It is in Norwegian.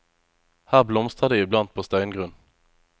Her blomstrer det i blant på steingrunn.